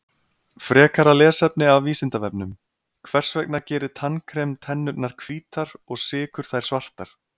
Frekara lesefni af Vísindavefnum: Hvers vegna gerir tannkrem tennurnar hvítar og sykur þær svartar?